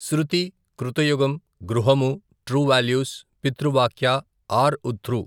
శృతి, కృత యుగం, గృహము, టృ వాల్యూస్, పితృవాక్య, ఆర్ ఉథృ.